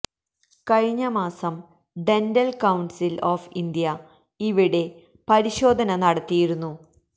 കഴിഞ്ഞ മാസം dental council of India ഇവിടെ പരിശോധന നടത്തിയിരുന്നു